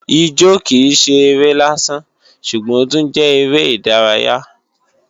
Ijó kìí ṣe eré lásán ṣùgbọ́n ó tún jẹ́ eré ìdárayá